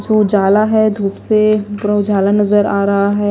उजाला है धूप से पूरा उजाला नजर आ रहा है।